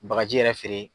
Bagaji yɛrɛ feere